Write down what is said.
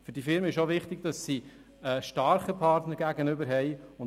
Für die Firmen ist es auch wichtig, einen starken Partner gegenüber zu haben.